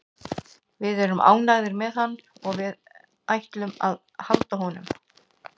Við erum ánægðir með hann og við ætlum að halda honum.